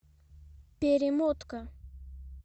перемотка